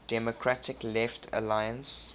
democratic left alliance